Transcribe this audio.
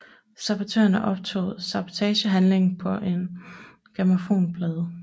Sabotørerne optog sabotagehandlingen på en grammofonplade